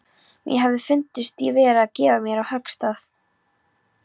Mér hefði fundist ég vera að gefa á mér höggstað.